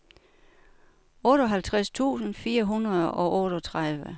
otteoghalvtreds tusind fire hundrede og otteogtredive